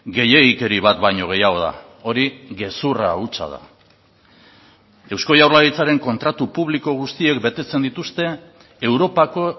gehiegikeri bat baino gehiago da hori gezurra hutsa da eusko jaurlaritzaren kontratu publiko guztiek betetzen dituzte europako